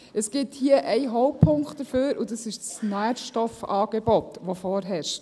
Es gibt hier einen Hauptpunkt dafür, und das ist das Nährstoffangebot, das vorherrscht.